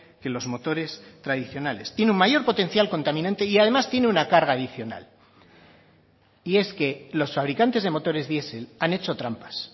que los motores tradicionales tiene un mayor potencial contaminante y además tiene una carga adicional y es que los fabricantes de motores diesel han hecho trampas